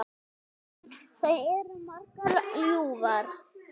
Þær eru margar og ljúfar.